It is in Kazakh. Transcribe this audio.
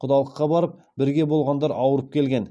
құдалыққа барып бірге болғандар ауырып келген